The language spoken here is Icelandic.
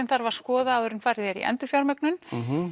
þarf að skoða áður en farið er í endurfjármögnun